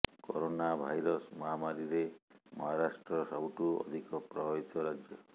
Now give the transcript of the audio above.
corona virus ମହାମାରୀରେ ମହାରାଷ୍ଟ୍ର ସବୁଠୁ ଅଧିକ ପ୍ରଭାବିତ ରାଜ୍ୟ